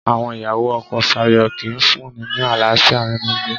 Àwọn ìyàwó ọkọ Sayo kìí fún-un ní àlàáfíà nínú ilé